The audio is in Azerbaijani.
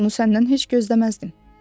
Bunu səndən heç gözləməzdim.